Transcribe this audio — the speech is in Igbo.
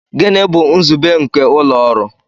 Gịnị bụ nzube nke ụlọ ọrụ?